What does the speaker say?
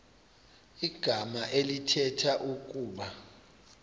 igama elithetha ukuba